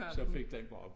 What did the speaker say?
Så fik den bare